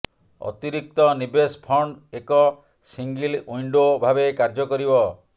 ଅତିରିକ୍ତ ନିବେଶ ଫଣ୍ଡ ଏକ ସିଙ୍ଗିଲ ୱିଣ୍ଡୋ ଭାବେ କାର୍ଯ୍ୟ କରିବ